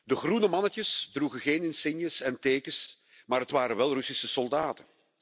De groene mannetjes droegen geen insignes en tekens, maar het waren wel Russische soldaten.